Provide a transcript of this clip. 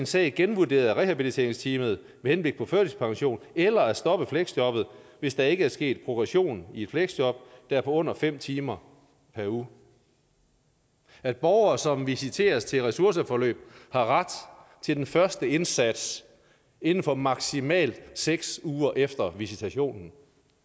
sag genvurderet af rehabiliteringsteamet med henblik på førtidspension eller at stoppe fleksjobbet hvis der ikke er sket progression i et fleksjob der er på under fem timer per uge at borgere som visiteres til et ressourceforløb har ret til den første indsats inden for maksimalt seks uger efter visitationen